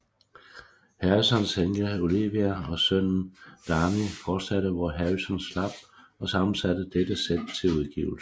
Harrisons enke Olivia og sønnen Dhani fortsatte hvor Harrison slap og sammensatte dette sæt til udgivelse